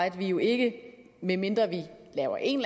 at vi jo ikke medmindre vi laver en